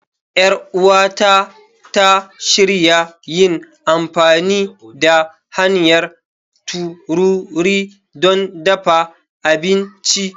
Yar uwata ta shirya yin amfani da hanyar tururi don dafa abinci.